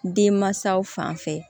Denmansaw fan fɛ